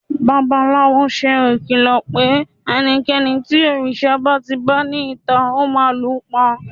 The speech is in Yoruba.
babalawo se ìkìlọ pe ẹnikẹni tí òrìṣà ba ti ba ni ita, o ma lu pa